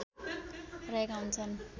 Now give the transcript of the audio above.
रहेका हुन्छन्